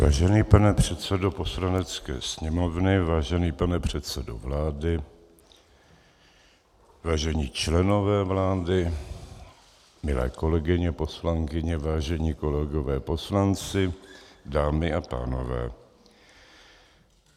Vážený pane předsedo Poslanecké sněmovny, vážený pane předsedo vlády, vážení členové vlády, milé kolegyně poslankyně, vážení kolegové poslanci, dámy a pánové.